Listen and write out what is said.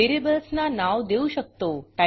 व्हेरिएबल्सना नाव देऊ शकतो